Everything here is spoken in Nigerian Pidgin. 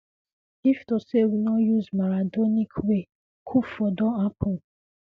if to say we no use maradonic way coup for don happun